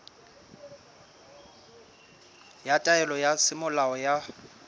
ya taelo ya semolao ya